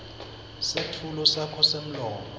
setfulo sakho semlomo